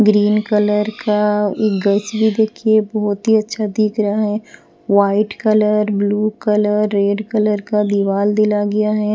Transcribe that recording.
Green colour का एक गच भी देखिए बहुत ही अच्छा दिख रहा है white colour blue colour red colour का दीवाल दिला गया है।